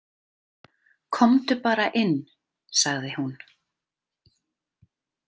Komdu bara inn, sagði hún.